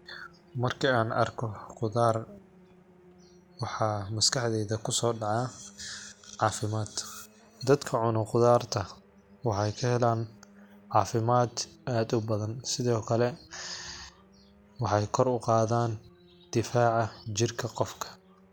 Marki aan arko gudaar waxaa maskaxdeeda ku soo dhaca caafimaad. Dadka cuno gudaarta waxay ka helaan caafimaad aad u badan. Sidoo kale waxay kor u qaadaan difaaca jirka qofka.